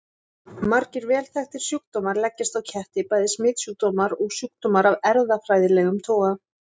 Margir vel þekktir sjúkdómar leggjast á ketti, bæði smitsjúkdómar og sjúkdómar af erfðafræðilegum toga.